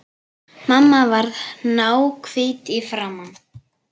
Mamma varð náhvít í framan.